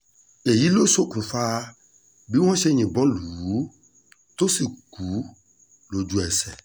èyí ló ṣokùnfà bí wọ́n ṣe yìnbọn lù ú tó sì kú lójú-ẹsẹ̀